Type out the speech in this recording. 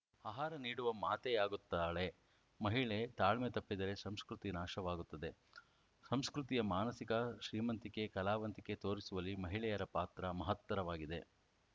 ಆಹಾರ ನೀಡುವ ಮಾತೆಯಾಗುತ್ತಾಳೆ ಮಹಿಳೆ ತಾಳ್ಮೆ ತಪ್ಪಿದರೆ ಸಂಸ್ಕೃತಿ ನಾಶವಾಗುತ್ತದೆ ಸಂಸ್ಕೃತಿಯ ಮಾನಸಿಕ ಶ್ರೀಮಂತಿಕೆ ಕಲಾವಂತಿಕೆ ತೋರಿಸುವಲ್ಲಿ ಮಹಿಳೆಯರ ಪಾತ್ರ ಮಹತ್ತರವಾಗಿದೆ